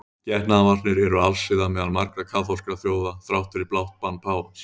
Getnaðarvarnir eru alsiða meðal margra kaþólskra þjóða þrátt fyrir blátt bann páfans.